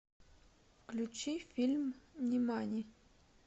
включи фильм нимани